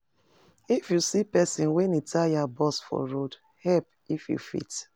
If you see pesin wen e tire burst for road, help if you fit.